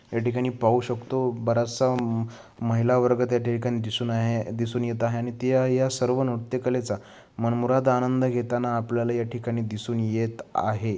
या ठिकाणी पाहू शकतो बराचसा अह महिलावर्ग त्या ठिकाणी दिसून आहे दिसून येत आहे आणि त्या या सर्व नृत्यकलेचा मनमुराद आनंद घेताना आपल्याला या ठिकाणी दिसून येत आहे.